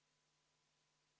Palun võtta seisukoht ja hääletada!